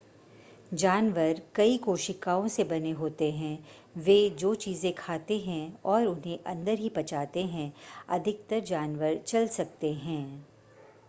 जानवर कई कोशिकाओं से बने होते हैं वे जो चीज़ें खाते हैं और उन्हें अंदर ही पचाते हैं अधिकतर जानवर चल सकते हैं